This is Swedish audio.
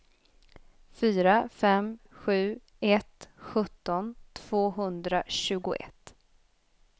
fyra fem sju ett sjutton tvåhundratjugoett